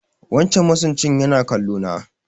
Wancan masunci yana kallo na